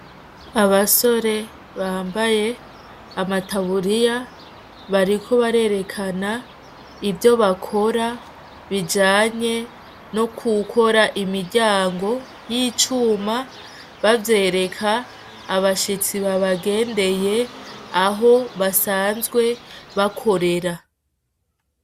Abasore bambaye amataburiya bariko barerekana ivyo bakora bijanye no gukora imiryango y’icuma bavyereka abashitsi babagendeye aho basanzwe bakorera.